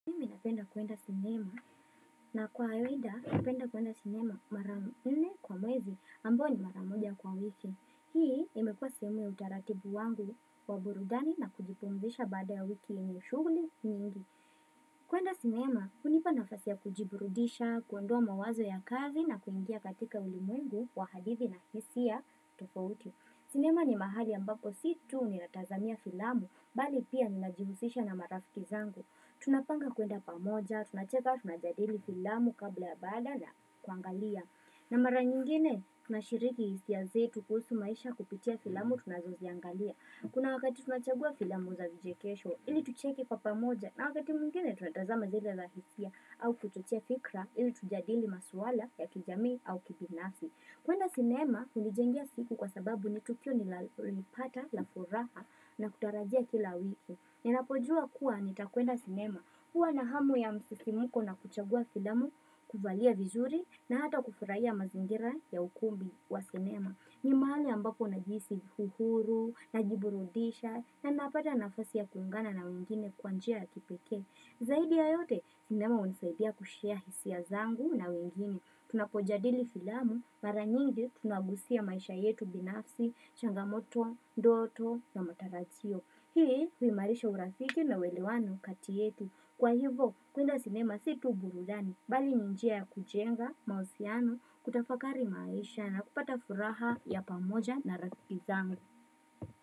Ninapenda kuenda sinema. Na kwa kawaida, ninapenda kuenda sinema mara nne kwa mwezi ambao ni maramoja kwa wiki. Hii imekua sehemu ya utaratibu wangu waburudani na kujipumzisha baada ya wiki yenye sushuguli nyingi. Kuenda sinema, unipa nafasia kujiburudisha, kuendoa mawazo ya kazi na kuingia katika ulimwengu wa hadithi na hisia tofouti. Sinema ni mahali ambapo situ ni atazamia filamu bali pia ninajihusisha na marafiki zangu. Tunapanga kuenda pamoja, Tunacheka tunajadili filamu kabla ya baada ya kuangalia na mara nyingine na shiriki hisiai zetu kuhusu maisha kupitia filamu tunazoziangalia Kuna wakati tunachagua filamu za vijekesho ili tucheki kwa pamoja na wakati mingine tunataza zile lahisia au kuchochia fikra ili tujadili maswala ya kijami au kibinafsi kuenda cinema kunijengia siku kwa sababu nitukio nilipata la furaha na kutarajia kila wiki Ninapojua kuwa nitakuenda sinema, huwa na hamu ya msisimuko na kuchagua filamu, kuvalia vizuri na hata kufurahia mazingira ya ukumbi wa sinema. Nimahali ambapo nagihisi uhuru, najiburudisha na napata nafasi ya kuungana na wengine kwa njia ya kipeke. Zaidi ya yote, sinema unisaidia kushea hisia zangu na wengine. Tunapojafndilli filamu, mara nyingi tunagusia maisha yetu binafsi, changamoto, ndoto na matarajio. Hii, huimarisha urafiki na welewano kati yetu. Kwa hivo, kuenda sinema situ burudani, bali njia ya kujenga, mahusiano, kutafakari maisha na kupata furaha ya pamoja na rakiki zango.